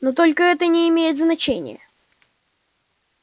но только это не имеет значения